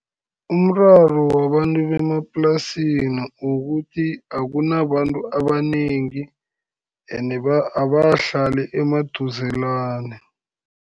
Umraro wabantu bemaplasini, ukuthi akunabantu abanengi, ene abakahlali emaduzelane.